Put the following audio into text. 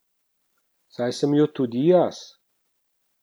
Saj sem jo tudi jaz.